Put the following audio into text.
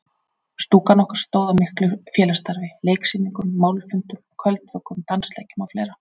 Stúkan okkar stóð að miklu félagsstarfi: Leiksýningum, málfundum, kvöldvökum, dansleikjum og fleira.